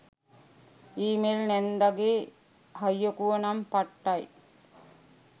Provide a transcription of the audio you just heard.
ඊ mail නැන්දගේ හයිකුව නම් පට්ටයි.